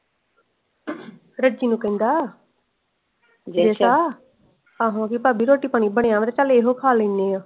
ਰੱਜੀ ਨੂੰ ਕਹਿੰਦਾ ਕਹਿੰਦਾ ਆਹੋ ਪਾਬੀ ਰੋਟੀ ਪਾਣੀ ਬਣਿਆ ਵਾ ਤੇ ਚਾਲ ਇਹੋ ਖਾ ਲੈਣੇ ਆ।